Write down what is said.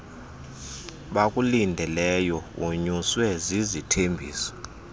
bakulindeleyo wonyuswe zizithembiso